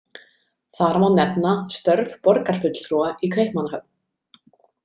Þar má nefna störf borgarfulltrúa í Kaupmannahöfn.